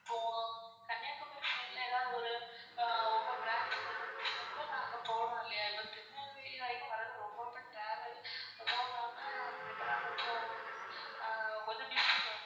இப்போ கன்னியாகுமாரி side ல எதாவது ஒரு உங்க branch இருந்துச்சுன கூட நான் அங்க போனு இல்லையா திருநெல்வேலி வரைக்கும் வரது ரொம்ப ரொம்ப travel இப்போ நாங்க இப்போ நான் கொஞ்சம் ஆஹ் busy ma'am